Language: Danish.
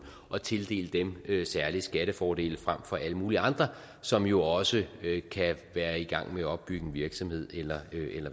og tildele dem særlige skattefordele frem for alle mulige andre som jo også kan være i gang med at opbygge en virksomhed eller